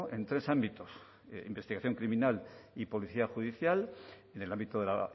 en tres ámbitos investigación criminal y policía judicial en el ámbito de la